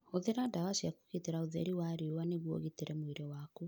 Hũthĩra ndawa cia kũgitĩra ũtheri wa riũa nĩguo ũgitĩre mwĩrĩ waku.